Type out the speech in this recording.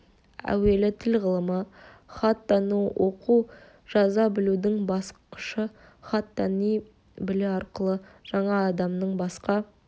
әуелі тіл ғылымы хат тану оқу жаза білудің басқышы хат тани білу арқылы жаңа адамның басқа